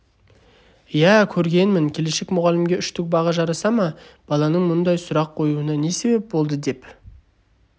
иә көргенмін келешек мұғалімге үштік баға жараса ма баланың мұндай сұрақ қоюына не себеп болды деп